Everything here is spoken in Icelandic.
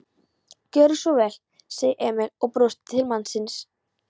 Gjörðu svo vel, sagði Emil og brosti til mannsins.